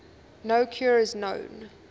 no cure is known